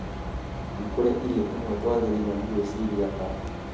Nĩ kũrĩ irio imwe twagĩrĩirũo nĩ gwĩciria ta: